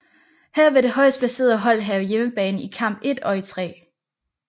Her vil det højst placeret hold have hjemmebane i kamp 1 og 3